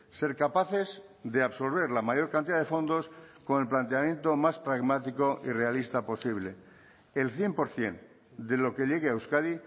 ser capaces de absorber la mayor cantidad de fondos con el planteamiento más pragmático y realista posible el cien por ciento de lo que llegue a euskadi